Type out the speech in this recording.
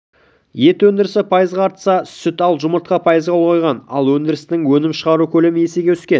ет өндірісі пайызға артса сүт ал жұмыртқа пайызға ұлғайған ал өндірістің өнім шығару көлемі есеге өскен